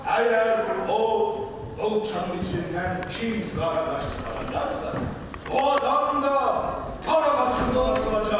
Əgər o çanın içindən kim dara qaçınacaqsa, o adam da dara qaçınacaq.